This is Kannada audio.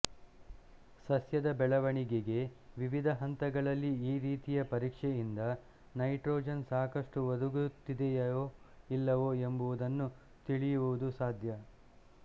ಸಸ್ಯದ ಬೆಳೆವಣಿಗೆಗೆ ವಿವಿಧ ಹಂತಗಳಲ್ಲಿ ಈ ರೀತಿಯ ಪರೀಕ್ಷೆಯಿಂದ ನೈಟ್ರೋಜನ್ ಸಾಕಷ್ಟು ಒದಗುತ್ತಿದೆಯೊ ಇಲ್ಲವೊ ಎಂಬುದನ್ನು ತಿಳಿಯುವುದು ಸಾಧ್ಯ